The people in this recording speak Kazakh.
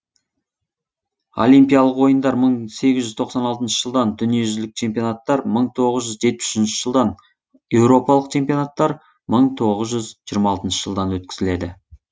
олимпиялық ойындар мың сегіз жүз тоқсан алтыншы жылдан дүниежүзілік чемпионаттар мың тоғыз жүз жетпіс үшінші жылдан еуропалық чемпионаттар мың тоғыз жүз жиырма алтыншы жылдан өткізіледі